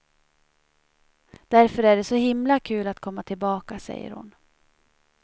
Därför är det så himla kul att komma tillbaka, säger hon.